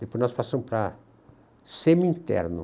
Depois nós passamos para semi-interno.